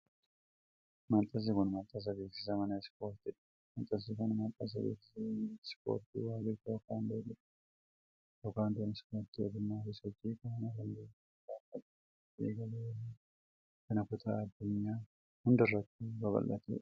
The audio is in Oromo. Maxxansi kun, maxxansa beeksisa mana Ispoortii dha. Maxxansi kun, maxxansa beeksisa leenjii ispoortii woorlid teekuwandoo jedhamuu yoo ta'u, teekuwandoon ispoortii ogummaa fi sochii qaamaa kan biyyoota baha fagoo keessatti eegalee yeroo ammaa kana kutaa addunyaa hundarrattuu babal'atee dha.